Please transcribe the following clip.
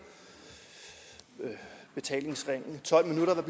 betalingsringen tolv minutter